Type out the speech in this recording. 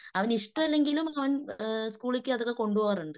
അവന് ഇഷ്ടമല്ലെങ്കിലും അവൻ സ്കൂളിക്ക് അതൊക്കെ കൊണ്ടുപോകാറുണ്ട്.